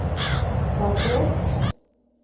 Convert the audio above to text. plassert